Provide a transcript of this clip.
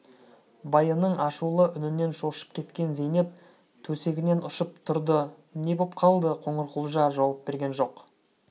байының ашулы үнінен шошып кеткен зейнеп төсегінен ұшып тұрды не боп қалды қоңырқұлжа жауап берген жоқ